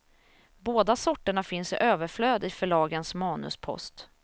Båda sorterna finns i överflöd i förlagens manuspost.